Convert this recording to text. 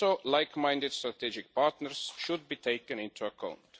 Like minded strategic partners should also be taken into account.